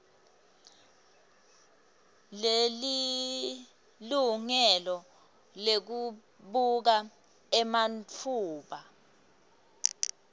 selilungelo lekubuka ematfuba